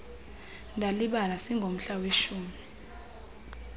ndalibala singomhla weshumi